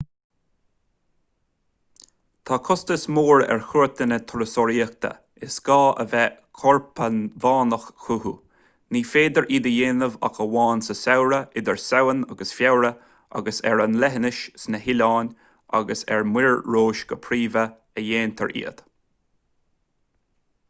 tá costas mór ar chuairteanna turasóireachta is gá a bheith corpacmhainneach chucu ní féidir iad a dhéanamh ach amháin sa samhradh idir samhain agus feabhra agus is ar an leithinis sna hoileáin agus ar muir rois go príomha a dhéantar iad